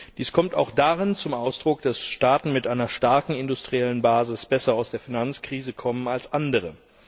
Dies kommt auch darin zum Ausdruck, dass Staaten mit einer starken industriellen Basis besser aus der Finanzkrise kommen als andere.